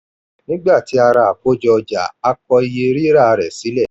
nigbati a rà àkójọ ọjà a kọ iye rira rẹ sílẹ̀.